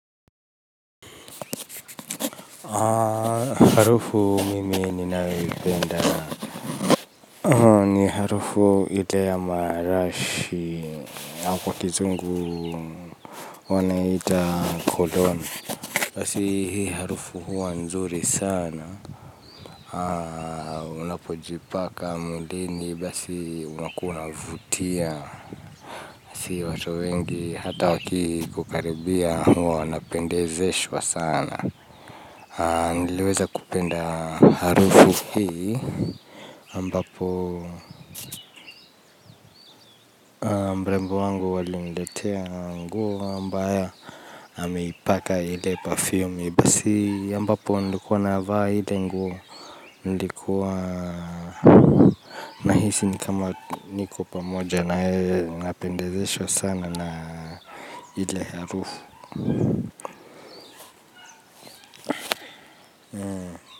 Harufu mimi ninayoipenda ni harufu ile ya marashi hapo kizungu wanaiita cologne. Basi hii harufu huwa nzuri sana. Unapojipaka mwilini basi unakuwa unavutia. Si ya watu wengi hata wakikukaribia huwa wanapendezeshwa sana. Niliweza kupenda harufu hii, ambapo mrembo wangu aliniletea nguo ambayo ameipaka ile parfumi basi ambapo nilikuwa na vaa ile nguo nilikuwa nahisi ni kama niko pamoja na yeye. Napendezeshwa sana na ile harufu.